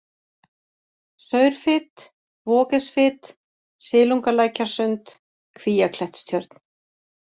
Saurfit, Waagesfit, Silungalækjarsund, Kvíaklettstjörn